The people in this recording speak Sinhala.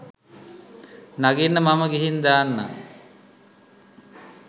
නගින්න මම ගිහිං දාන්නං